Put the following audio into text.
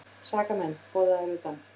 SAKAMENN BOÐAÐIR UTAN